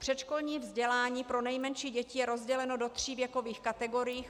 Předškolní vzdělání pro nejmenší děti je rozděleno do tří věkových kategorií.